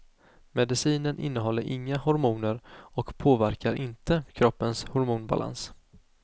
Medicinen innehåller inga hormoner och påverkar inte kroppens hormonbalans.